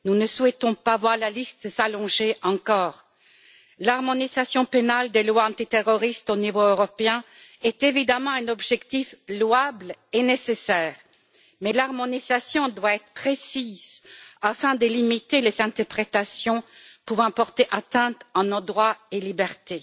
Nous ne souhaitons pas voir la liste s'allonger encore. L'harmonisation pénale des lois antiterroristes au niveau européen est évidemment un objectif louable et nécessaire, mais l'harmonisation doit être précise afin de limiter les interprétations pouvant porter atteinte à nos droits et libertés.